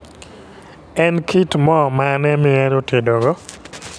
En kit moo mane mihero tedo go?